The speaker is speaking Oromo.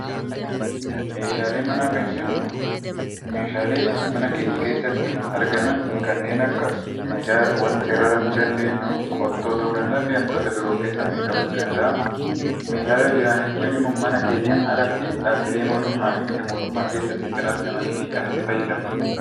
Meeshaalee manaa kan jennu meeshaalee mana keenya keessatti argaman kanneen akka waanta irra rafuu dandeenyu qottoo ta'uu danda'a fi wantoota biroo of keessatti qabachuu danda'a. Meeshaalee waajjiraa jechuun ammoo mana keenyaan alatti dhaabbilee mootummaa fi miti mootummaa keessatti kan argamanii fi kan itti fayyadamnudha.